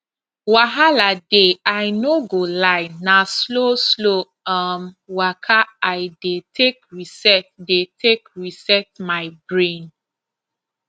wahala dey i no go lie na slowslow um waka i dey take reset dey take reset my brain